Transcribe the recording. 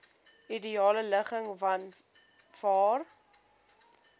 ideale ligging vanwaar